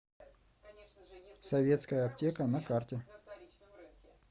советская аптека на карте